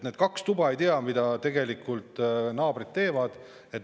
Need kaks tuba ei tea, mida naabrid teevad.